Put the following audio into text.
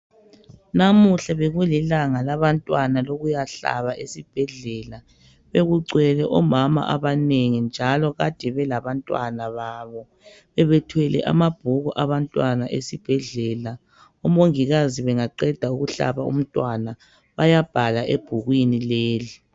Namuhla bekulilanga labantwana lokuyahlaba esibhedlela , bekugcwele omama abanengi njalo Kade belabantwana babo bebethwele amabhuku abantwana esibhedlela omongikazi bengaqeda ukuhlaba umntwana bayabhala ebhukwini leli.